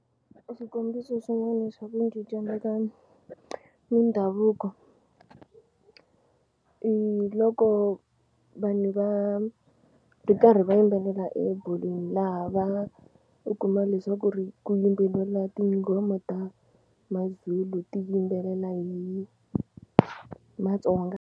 Xikombiso xin'wana xa ku cincana ka mindhavuko i loko vanhu va ri karhi va yimbelela ebolweni laha va u kuma leswaku ri ku yimbelela tinghoma ta MaZulu ti yimbelela hi Matsonga.